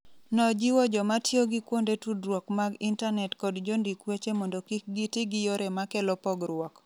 Nojiwo joma tiyo gi kuonde tudruok mag intanet kod jondik weche mondo kik giti gi yore ma kelo pogruok.